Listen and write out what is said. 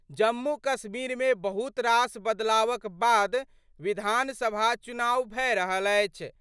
जम्मू कश्मीर मे बहुत रास बदलावक बाद विधानसभा चुनाव भए रहल अछि।